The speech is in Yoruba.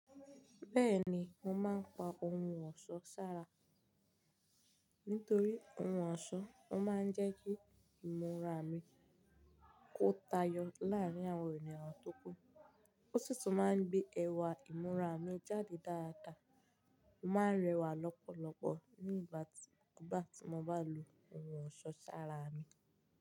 Bẹ́ẹ̀ni, mo máa ń pa ohun ọ̀ṣọ́ sára. Nítorí ohun ọ̀ṣọ́, ó máa ń jẹ́ kí ìmúra mi kó tayọ láàrín àwọn ènìyàn tó kú. Ó sì tún máa ń gbé ẹwà ìmúra mi jáde dáadáa. Mo máa ń rẹwà lọ́pọ̀lọpọ̀ nígbà tí mo bá lò ohun ọ̀ṣọ́ sára mi.